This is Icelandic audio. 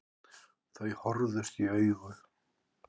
Þau horfðust í augu.